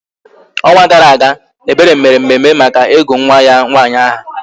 Ọnwa gara aga, Ebere mere mmemme maka ịgụ nwa ya nwaanyị aha